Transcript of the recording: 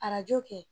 Arajo kɛ